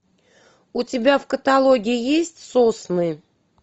у тебя в каталоге есть сосны